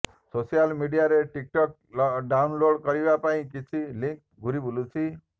social ମିଡିଆରେ TikTok download କରିବା ପାଇଁ କିଛି ଲିଙ୍କ ଘୂରି ବୁଲୁଛି